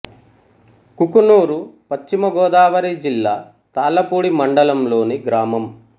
కుకునూరు పశ్చిమ గోదావరి జిల్లా తాళ్ళపూడి మండలం లోని గ్రామం